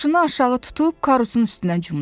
Başını aşağı tutub Karusun üstünə cumdu.